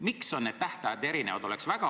Miks on need tähtajad erinevad?